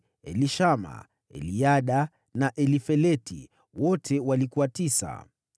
Elishama, Eliada na Elifeleti; wote walikuwa tisa.